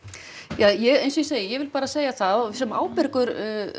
ja eins og ég segi ég vil bara segja það sem ábyrgur